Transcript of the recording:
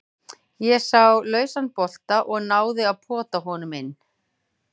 Ég sá lausan bolta og náði að pota honum inn.